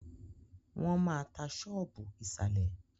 Wọ́n maá tá ṣọ́ọ́bù ìsàlẹ̀.